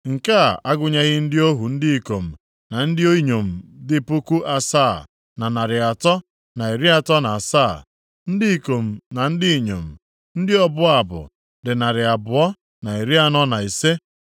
nke a agụnyeghị ndị ohu ndị ikom na ndị inyom dị puku asaa, na narị atọ na iri atọ na asaa (7,337), ndị ikom na ndị inyom, ndị ọbụ abụ + 7:67 Tinyere ndị Livayị na-abụ abụ, e nwere ọtụtụ ndị ọzọ na-abụ abụ nʼoge mmemme dị iche iche, dịka nʼoge ọlụlụ nwanyị, na nʼoge olili na ọnwụ \+xt Ezr 2:65\+xt* dị narị abụọ, na iri anọ na ise (245).